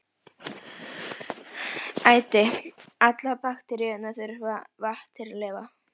Æti: allar bakteríur þurfa vatn til að lifa.